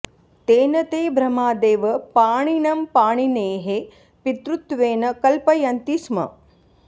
तेन ते भ्रमादेव पाणिनं पाणिनेः पितृत्वेन कल्पयन्ति स्म